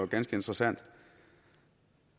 ganske interessant